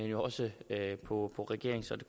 jo også på regeringens og det